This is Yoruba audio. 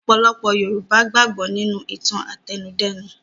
Ọ̀pọ̀lọpọ̀ Yorùbá gbàgbọ́ nínú ìtàn-àtẹnudẹ́nu.